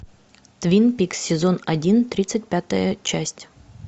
твин пикс сезон один тридцать пятая часть